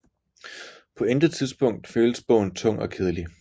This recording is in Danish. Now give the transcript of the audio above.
På intet tidspunkt føles bogen tung og kedelig